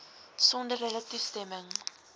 sonder hulle toestemming